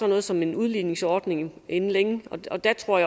noget som en udligningsordning inden længe og jeg tror